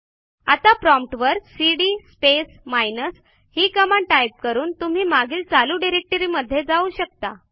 आता प्रॉम्प्ट वर CD space minus ही कमांड टाईप करून तुम्ही मागील चालू डिरेक्टरीमध्ये जाऊ शकता